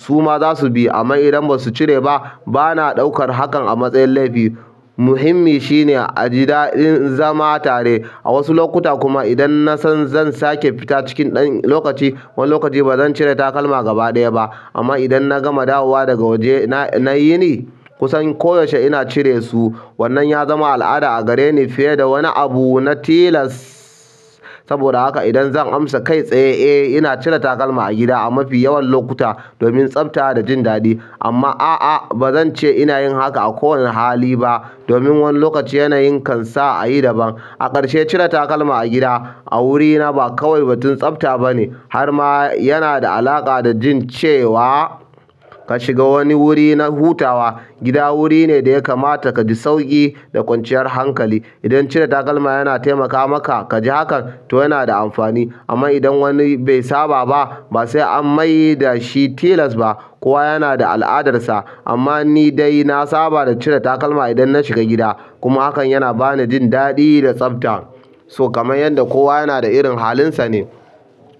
su ma za su bi. Amma idan ba su cire ba, ba na ɗaukar hakan a matsayin laifi. Muhimmi shine a ji daɗin zama tare. A wasu lokuta kuma idan na san zan sake fita cikin ɗan lokaci, wani lokaci ba zan cire takalma gaba ɗaya ba. Amma idan na gama dawowa daga waje na yini, kusan koyaushe ina cire su. Wannan ya zama al'ada a gare ni fiye da wani abu na tilas. Saboda haka idan zan amsa kai tsaye, eh, ina cire takalma a gida a mafi yawan lokuta domin tsafta da jin daɗi. Amma a'a, ba zan ce ina yin haka a kowane hali ba domin wani lokaci yanayi kan sa a yi daban. A ƙarshe, cire takalma a gida a wurina ba kawai batun tsafta ba ne, har ma yana da alaƙa da jin cewa ka shiga wani wuri na hutawa. Gida wuri ne da ya kamata ka ji sauƙi da kwanciyar hankali. Idan cire takalma yana taimaka maka ka ji hakan, to yana da amfani. Amma idan wani bai saba ba, ba sai an mai da shi tilas ba. Kowa yana da al'adarsa. Amma ni dai na saba da cire takalma idan na shiga gida kuma hakan yana ba ni jin daɗi da tsafta. So kamar yanda kowa yana da irin hanlinsa ne.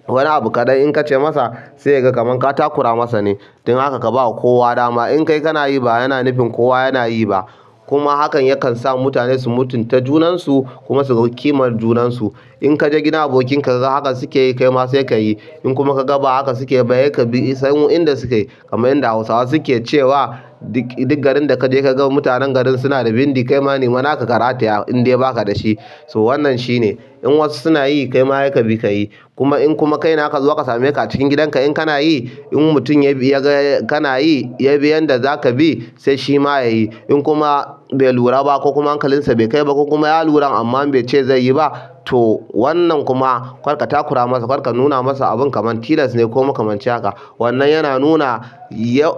Wani abu kaɗai in ka ce masa sai ya ga kamar ka takura masa ne. Don haka ka ba kowa dama. In kai kana yi ba yana nufin kowa yana yi ba. Kuma hakan yakan sa mutane su mutunta junansu kuma su ga kimar junansu. In ka je gidan abokin ka ka ga haka suke yi, kai ma sai ka yi. In kuma ka ga ba haka suke ba, sai ka bi sabon yanda suke. Kaman yanda Hausawa suke cewa, duk garin da ka je ka ga mutanen garin suna da bindi, kai ma ne mana ka karata indai ba ka da shi. So wannan shi ne. In wasu suna yi, kai ma sai ka bi ka yi. Kuma in kuma kaine akazo aka sameka acikin gidan ka in kana yi in mutum yaga kanayi yaga yanda zaka bi sai shima ya bi in kuma bai lura ba ko kuma hankalinsa bai kai ba ko kuma ya lura amma bai ce zai yi ba, to wannan kuma karka takura masa, karka nuna masa abun kamar tilas ne ko makamanci haka. Wannan yana nuna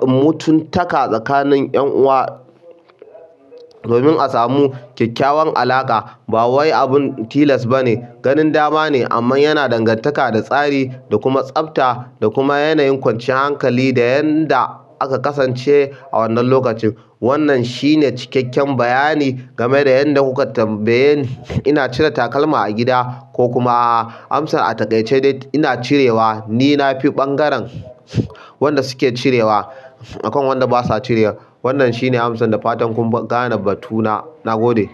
mutuntaka tsakanin 'yan uwa domin a samu kyakkyawan alaƙa. Ba wai abin tilas ba ne, ganin dama ne amma yana dangantaka da tsari da kuma tsafta da kuma yanayin kwanciyar hankali da yadda aka kasance a wannan lokacin. Wannan shine cikakken bayani game da yanda kuka tambaye ni. Ina cire takalma a gida ko kuma a'a. Amsa a taƙaice dai ina cirewa. Ni na fi ɓangaren wanda suke cirewa akan wanda basa cirewa. Wannan shi ne amsar da fatan kun gane batuna. Na gode.